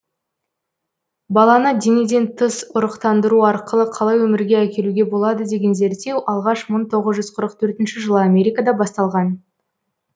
баланы денеден тыс ұрықтандыру арқылы қалай өмірге әкелуге болады дегендерге зерттеу алғаш мың тоғыз жүз қырық төртте жылы америкада басталған